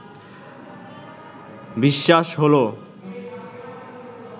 বিশ্বাস হলো